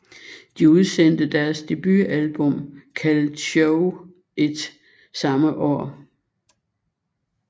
De udsendte deres debutalbum kaldet Shove It samme år